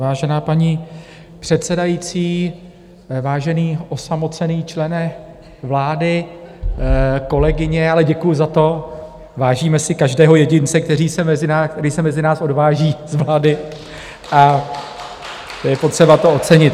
Vážená paní předsedající, vážený osamocený člene vlády , kolegyně - ale děkuji za to, vážíme si každého jedince, který se mezi nás odváží z vlády, a je potřeba to ocenit.